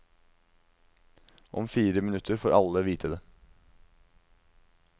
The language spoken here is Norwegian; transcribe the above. Om fire minutter får alle vite det.